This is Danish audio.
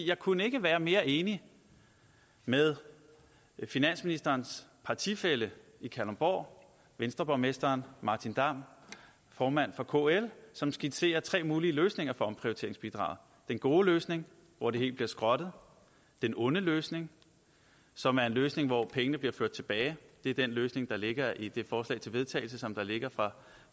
jeg kunne ikke være mere enig med finansministerens partifælle i kalundborg venstreborgmesteren martin damm formand for kl som skitserer tre mulige løsninger for omprioriteringsbidraget den gode løsning hvor det hele bliver skrottet den onde løsning som er en løsning hvor pengene bliver ført tilbage det er den løsning der ligger i det forslag til vedtagelse som ligger fra